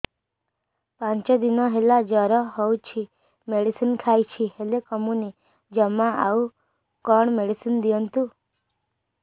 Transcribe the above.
ପାଞ୍ଚ ଦିନ ହେଲା ଜର ହଉଛି ମେଡିସିନ ଖାଇଛି ହେଲେ କମୁନି ଜମା ଆଉ କଣ ମେଡ଼ିସିନ ଦିଅନ୍ତୁ